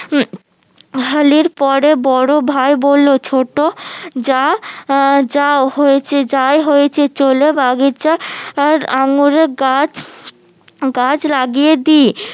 পরে বড় ভাই বললো ছোট যা আহ যাও হয়েছে যাই হয়েছে চলে বাগিচায় আর আঙ্গুর গাছ গাছ লাগিয়ে দি